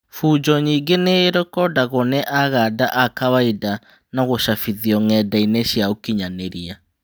Bunjo nyingĩ nĩ irekondagwo nĩ Aganda a kawainda na gũcabithio ng'endainĩ cia ũkinyanĩria.